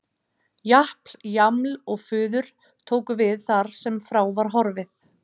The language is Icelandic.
Japl-jaml-og-fuður tóku við þar sem frá var horfið.